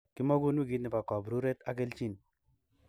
Kimogun wikit nepo kopruret ak keljin.